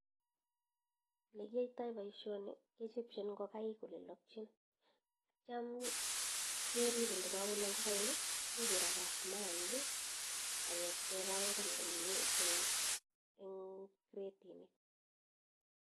ole kiaitoi boisioni kechopchin ngokaik elo lokchin atya kerib yo kolok ngokaik nyikirakat maaik akeb ipkebangan ing cretinik